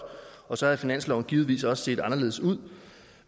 og så havde finansloven givetvis også set anderledes ud